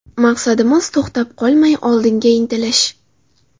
Maqsadimiz to‘xtab qolmay, oldinga intilish.